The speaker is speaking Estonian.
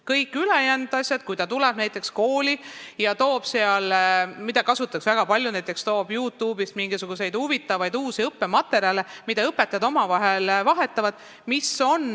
Kõiki ülejäänud asju aga ei keelata, näiteks kui ta toob kooli mingisuguseid huvitavaid uusi näitlikustavaid õppematerjale Youtube'ist, mida kasutatakse väga palju ja mida õpetajad omavahel vahetavad.